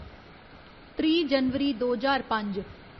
त्रीह् जनवरी दो ज्हार पंज